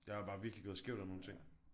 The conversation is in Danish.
Jeg var bare virkelig gået skævt af nogle ting